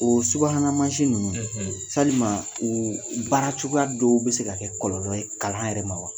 Oo subahana mansi ninnu, salima oo baara cogoya dɔw be se ka kɛ kɔlɔlɔ ye kalan yɛrɛ ma wa?